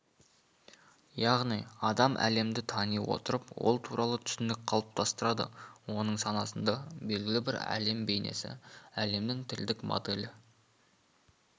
яғни адам әлемді тани отырып ол туралы түсінік қалыптастырады оның санасында белгілі бір әлем бейнесі әлемнің тілдік моделі